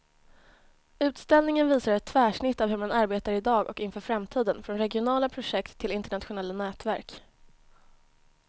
Utställningen visar ett tvärsnitt av hur man arbetar i dag och inför framtiden, från regionala projekt till internationella nätverk.